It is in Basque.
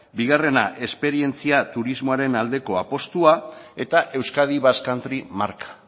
bigarrena esperientzia turismoaren aldeko apustua eta euskadi basque country marka